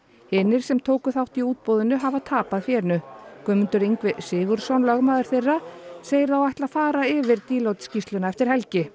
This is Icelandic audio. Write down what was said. hinir sem tóku þátt í útboðinu hafa tapað fénu Guðmundur Ingvi Sigurðsson lögmaður þeirra segir þá ætla fara yfir Deloitte skýrsluna eftir helgi